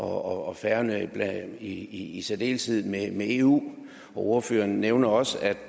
og færøerne i særdeleshed i eu ordføreren nævnte også at